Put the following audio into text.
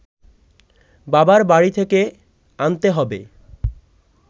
বাবার বাড়ি থেকে আনতে হবে